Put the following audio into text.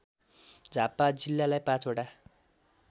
झापा जिल्लालाई ५ वटा